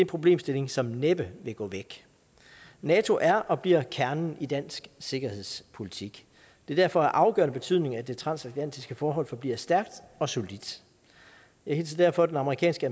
problemstilling som næppe vil gå væk nato er og bliver kernen i dansk sikkerhedspolitik det er derfor af afgørende betydning at det transatlantiske forhold forbliver stærkt og solidt jeg hilser derfor den amerikanske